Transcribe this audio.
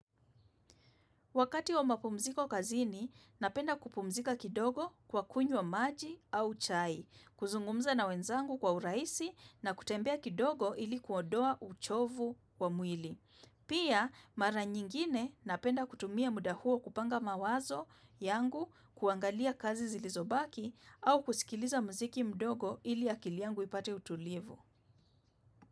Wakati wa mapumziko kazini, napenda kupumzika kidogo kwa kunywa maji au chai, kuzungumza na wenzangu kwa urahisi na kutembea kidogo ili kuondoa uchovu wa mwili. Pia, mara nyingine napenda kutumia muda huo kupanga mawazo yangu kuangalia kazi zilizobaki au kusikiliza mziki mdogo ili akili yangu ipate utulivu.